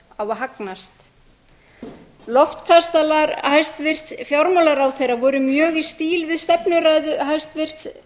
kost á að hagnast loftkastalar hæstvirts fjármálaráðherra voru mjög í stíl við stefnuræðu hæstvirts